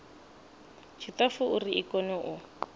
tshiṱafu uri i kone u